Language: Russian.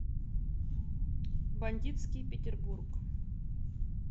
бандитский петербург